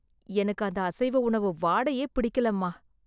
எனக்கு அந்த அசைவ உணவு வாடையே பிடிக்கலம்மா...